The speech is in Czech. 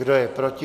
Kdo je proti?